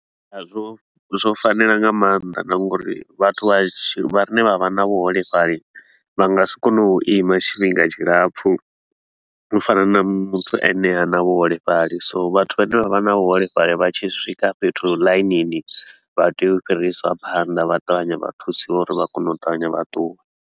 A zwo zwo fanela nga mannḓa na nga uri vhathu vha ne vha vha na vhuholefhali, vha nga si kone u ima tshifhinga tshilapfhu u fana na muthu a ne ha na vhuholefhali. So vhathu vhane vha vha na vhuholefhali vha tshi swika fhethu ḽainini, vha tea u fhirisiwa phanda vha ṱavhanye vha thusiwe uri vha kone u ṱavhanye vhaṱuwe.